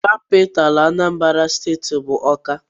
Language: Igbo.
Capitalú Anambra steeti bụ Awka.